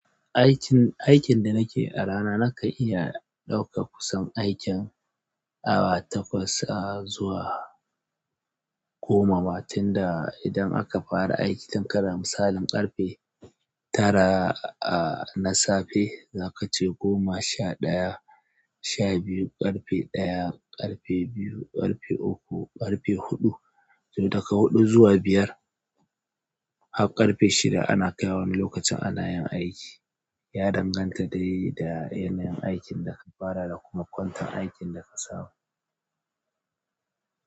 Aikin, aikin da nake yi a rana nakan iya ɗauka kusan aikin awa takwas a zuwa goma, matin da idan aka fara aiki, tun kana misalin ƙarfe tara a na safe, za ka ce goma, sha ɗaya, sha biyu, ƙarfe ɗaya, ƙarfe biyu, ƙarfe uku, ƙarfe huɗu. Tun daga huɗu zuwa biyar, har ƙarfe shida ana kaiwa wani lokacin ana aiki ya danganta dai da yanayin aikin da ka fara da kuma kwantan aikin da ka samu.